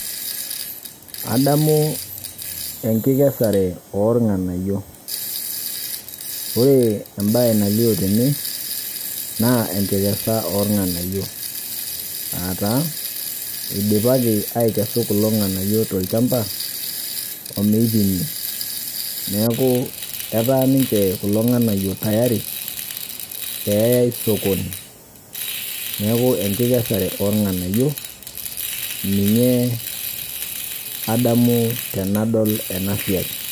Adamuu enkikesare oolng'anayio. Ore embaye nalio tene naa enkikesa oolng'anayio aataa eidipaki aikesu kulo ng'anayio tolchamba omeipimi neakuu etaa ninche kulo ng'anayio tayari peeyai sokoni. Neaku enkikesare oolng'anayio ninye adamu tenadol enasiai.